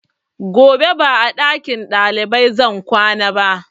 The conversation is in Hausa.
Gobe ba a ɗakin ɗalibai zan kwana ba